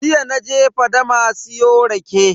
Jiya naje fadama siyo rake.